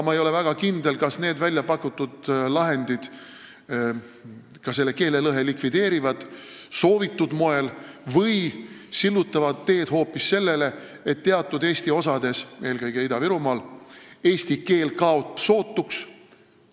Ma ei ole aga väga kindel, kas need väljapakutud lahendid likvideerivad keelelõhe soovitud moel või sillutavad teed hoopis sellele, et teatud Eesti osades, eelkõige Ida-Virumaal eesti keel kaob sootuks.